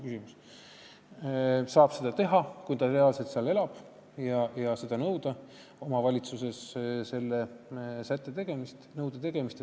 Ta saab seda teha, kui ta seal reaalselt elab, ja nõuda omavalitsuses selle sätte järgimist, selle nõude täitmist.